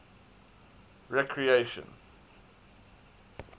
recreation